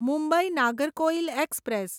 Mumbai Nagercoil express